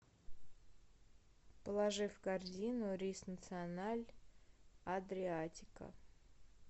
положи в корзину рис националь адриатика